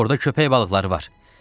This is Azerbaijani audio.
Orda köpək balıqları var!